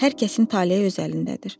Hər kəsin taleyi öz əlindədir.